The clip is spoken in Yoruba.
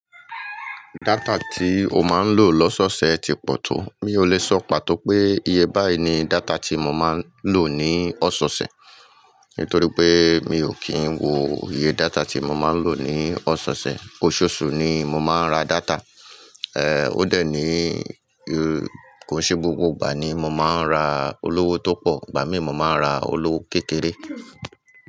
Data tí o máa ń lò lọ́sọ́ọ̀ọ̀sẹ̀ ti pọ̀ tó? Mi ò lè sọ pàtó pé iye báyìí ni data tí mo máa ń lò ní ọ̀sọ̀ọ̀sẹ̀ nítorí pé mi ò kí ń wo iye data tí mo máa ń lò ní ọ̀sọ̀ọ̀sẹ̀. Oṣooṣù ni mo máa ń rá dáta. Èé, ó dà ní kó ṣe gbógbó ìgbà ni mo máa ń ra olówó tó pọ̀, ìgbà mìíràn mo máa ń ra olówó kékeré.